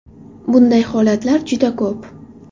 Bunday holatlar juda ko‘p.